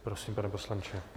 Prosím, pane poslanče.